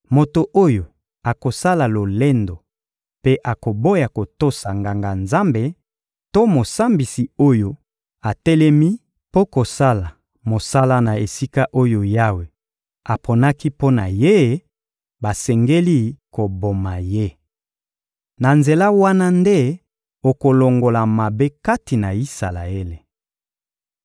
Moto oyo akosala lolendo mpe akoboya kotosa Nganga-Nzambe to mosambisi oyo atelemi mpo kosala mosala na esika oyo Yawe aponaki mpo na ye, basengeli koboma ye. Na nzela wana nde okolongola mabe kati na Isalaele.